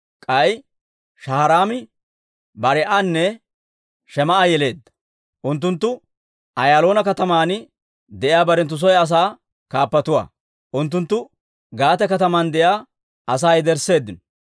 K'ay Shaharaami Barii'anne Shemaa'a yeleedda. Unttunttu Ayaaloona kataman de'iyaa barenttu soy asaa kaappatuwaa. Unttunttu Gaate kataman de'iyaa asaa yedersseeddino.